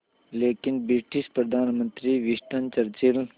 लेकिन ब्रिटिश प्रधानमंत्री Winston Churchill